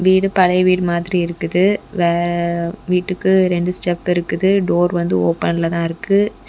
வீடு பழைய வீடு மாதிரி இருக்குது வே வீட்டுக்கு ரெண்டு ஸ்டெப் இருக்குது டோர் வந்து ஓபன்ல தான் இருக்கு.